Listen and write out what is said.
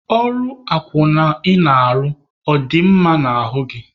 Ọrụ akwụna ị na-arụ, ọ dị gị mma n'ahụ?